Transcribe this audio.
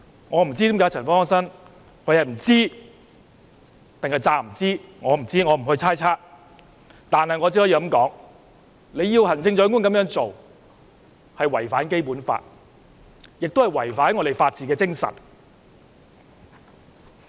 我不知，亦不會猜測，我只可以說，她要求行政長官這樣做是違反《基本法》，亦違反香港的法治精神。